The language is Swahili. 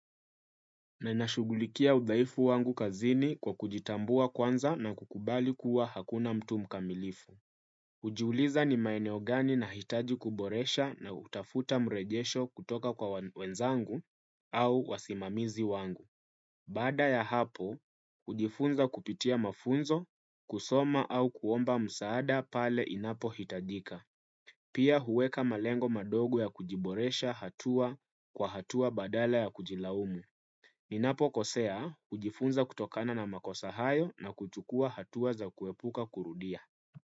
Na nashughulikia udhaifu wangu kazini kwa kujitambua kwanza na kukubali kuwa hakuna mtu mkamilifu. Hujiuliza ni maeneo gani na hitaji kuboresha na hutafuta mrejesho kutoka kwa wenzangu au wasimamizi wangu. Baada ya hapo, hujifunza kupitia mafunzo, kusoma au kuomba msaada pale inapo hitajika. Pia huweka malengo madogo ya kujiboresha hatua kwa hatua badala ya kujilaumu. Ninapo kosea, hujifunza kutokana na makosa hayo na kuchukua hatua za kuepuka kurudia.